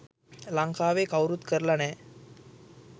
ලංකාවේ කවුරුත් කරල නෑ.